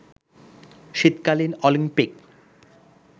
শীতকালীন অলিম্পিক